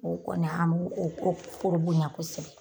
O kɔni an b'o o ko o foro bonya kosɛbɛ.